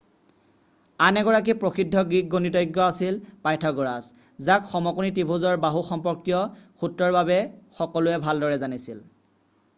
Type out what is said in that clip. আন এগৰাকী প্ৰসিদ্ধ গ্ৰীক গণিতজ্ঞ আছিল পাইথাগ'ৰাছ যাক সমকোণী ত্ৰিভুজৰ বাহু সম্পৰ্কীয় সূত্ৰৰ বাবে সকলোৱে ভালদৰে জানিছিল